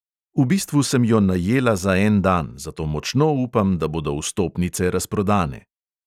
V bistvu sem jo najela za en dan, zato močno upam, da bodo vstopnice razprodane.